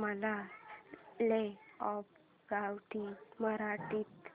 मला law of gravity मराठीत